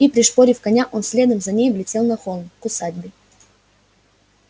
и пришпорив коня он следом за ней взлетел на холм к усадьбе